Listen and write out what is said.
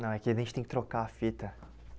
Não, é que a gente tem que trocar a fita.